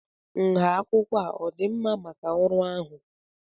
nha akwụkwọ a ọ dị mma maka ọrụ ahụ?